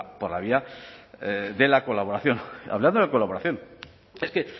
por la vía de la colaboración hablando de colaboración es que